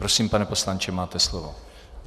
Prosím, pane poslanče, máte slovo.